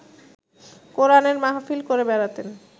কোরানের মাহফিল করে বেড়াতেন